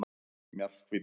Mjallhvít